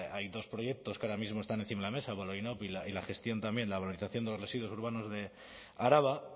hay dos proyectos que ahora mismo están encima de la mesa la y la gestión también la valorización de los residuos urbanos de araba